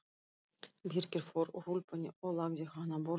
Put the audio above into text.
Birkir fór úr úlpunni og lagði hana á borðið.